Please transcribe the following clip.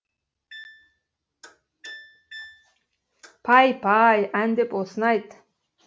пай пай ән деп осыны айт